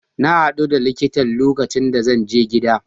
Na hadu da likitan lokacin da zan je gida.